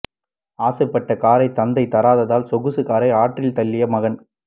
ஆசைப்பட்ட காரை தந்தை தராததால் சொகுசு காரை ஆற்றில் தள்ளிய மகன்